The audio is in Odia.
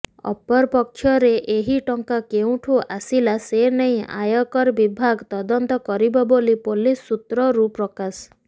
ଅପରପକ୍ଷରେ ଏହି ଟଙ୍କା କେଉଁଠୁ ଆସିଲା ସେନେଇ ଆୟକର ବିଭାଗ ତଦନ୍ତ କରିବ ବୋଲି ପୋଲିସ ସୁତ୍ରରୁ ପ୍ରକାଶ